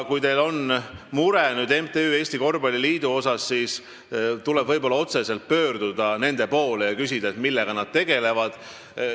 Kui teil on MTÜ Eesti Korvpalliliidu pärast mure, siis tuleks otse nende poole pöörduda ja küsida, millega nad tegelevad.